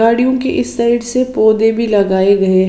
गाड़ियों के इस साइड से पौधे भी लगाए गए--